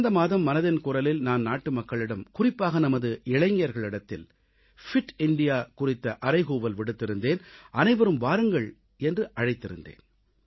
கடந்த மாதம் மனதின் குரலில் நான் நாட்டுமக்களிடம் குறிப்பாக நமது இளைஞர்களிடத்தில் ஃபிட் இந்தியா பிட் இந்தியா குறித்த அறைகூவல் விடுத்திருந்தேன் அனைவரும் வாருங்கள் என்று அழைத்திருந்தேன்